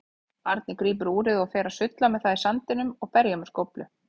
Barnið grípur úrið og fer að sulla með það í sandinum og berja með skóflu.